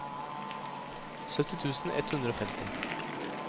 sytti tusen ett hundre og femti